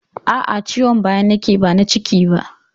Aa, Ciwon baya na ke yi ba na ciki ba